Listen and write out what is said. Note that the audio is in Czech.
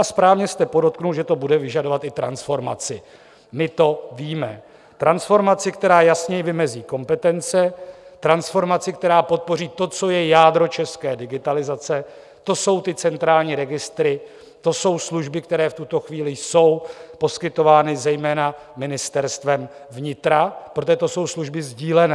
A správně jste podotkl, že to bude vyžadovat i transformaci - my to víme: transformaci, která jasněji vymezí kompetence, transformaci, která podpoří to, co je jádro české digitalizace, to jsou ty centrální registry, to jsou služby, které v tuto chvíli jsou poskytovány zejména Ministerstvem vnitra, protože to jsou služby sdílené.